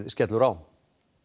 skellur á